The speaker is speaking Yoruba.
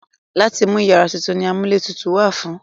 Láti mú iyàrá tutù ni amúlétutù wà fún.